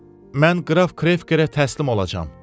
Mən qraf Krekkerə təslim olacam.